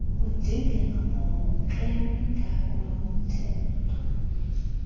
kudingeka ngokemigaqo yomhtetho